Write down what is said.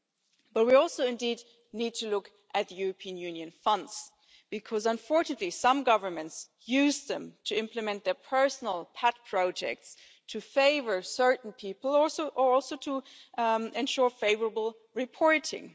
Indeed, we also need to look at the European Union funds because, unfortunately, some governments use them to implement their personal pet projects, to favour certain people or to ensure favourable reporting.